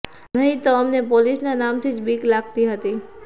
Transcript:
નહીં તો અમને પોલીસના નામથી જ બીક લાગતી હતી